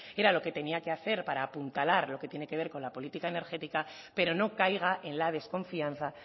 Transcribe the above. era lo que tenía que hacer para apuntalar lo que tiene que ver con la política energética pero no caiga en la desconfianza